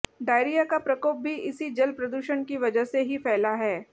diarrhoea का प्रकोप भी इसी जल प्रदूषण की वजह से ही फैला है